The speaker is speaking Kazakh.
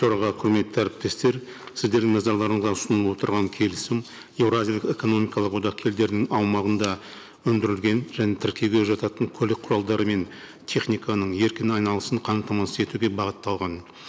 төраға құрметті әріптестер сіздердің назарларыңызға ұсынылып отырған келісім еуразиялық экономикалық одақ елдерінің аумағында өндірілген және тіркеуге жататын көлік құралдары мен техниканың еркін айналысын қамтамасыз етуге бағытталған